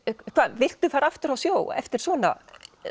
viltu fara aftur á sjó eftir svona